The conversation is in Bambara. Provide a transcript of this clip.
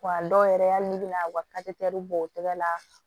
Wa dɔw yɛrɛ y'a n'i bɛna u ka bɔ u tɛgɛ la